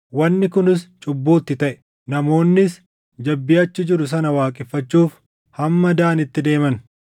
Wanni kunis cubbuu itti taʼe; namoonnis jabbii achi jiru sana waaqeffachuuf hamma Daanitti deeman.